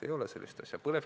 Ei ole sellist asja!